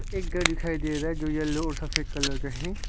एक घर दिखाई दे रहा है जो येलो और सफेद कलर का है।